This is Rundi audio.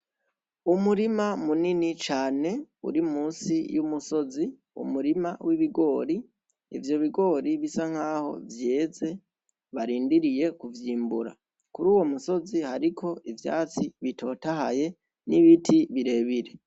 Umurima munini cane uri musi y'umusozi n'umurima w'ibigori ivyo bigori bisa nkaho vyeze barindiriye kuvyimbura kuri uwo musozi hariko ivyatsi bitotahaye n'ibiti birebire